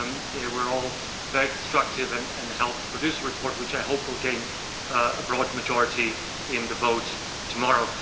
They were all very constructive and helped produce a report which, I hope, will gain a broad majority in the vote tomorrow.